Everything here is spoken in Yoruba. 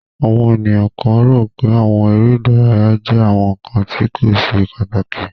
Awọn eniyan kan ro pé awọn ere idaraya jẹ awọn nkan ti ko ṣe pataki.